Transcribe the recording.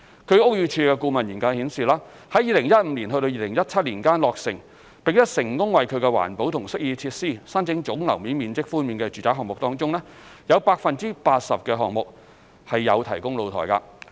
據屋宇署的顧問研究顯示，在2015年至2017年間落成並成功為其環保及適意設施申請總樓面面積寬免的住宅項目中，有 80% 的項目有提供露台。